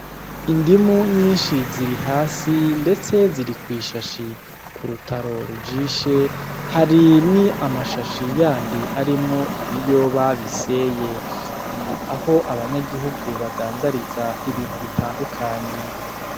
Indimu nyinshi ziri hasi ndetse ziri kw'ishashi, ku rutaro rujishe hari ni amashashi yandi arimwo ibiyoba bisyeye. Ni aho abanyagihugu badandariza ibintu bitandukanye.